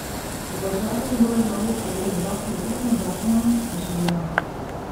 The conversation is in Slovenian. So pa v času njegove vlade sprejeli dva pietetna zakona, je še dejal.